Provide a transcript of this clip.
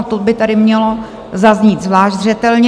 A to by tady mělo zaznít zvlášť zřetelně.